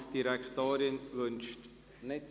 Die Finanzdirektorin wünscht das Wort nicht.